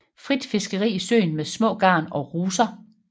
Frit fiskeri i søen med små garn og ruser